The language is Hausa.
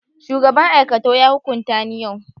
shugaban aikatau ya hukunta ni yau